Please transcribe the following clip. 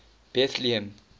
bethlehem